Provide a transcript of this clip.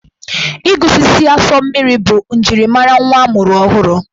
Ịgụsisi asụ mmiri bụ njirimara nwa a mụrụ ọhụrụ.